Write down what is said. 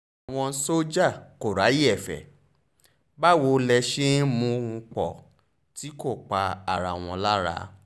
àwọn sójà kò ráyè ẹ̀fẹ́ báwo lè ṣe ń mú un pọ̀ tí kò pa ara wọn lára